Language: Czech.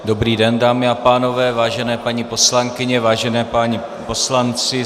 Dobrý den, dámy a pánové, vážené paní poslankyně, vážení páni poslanci.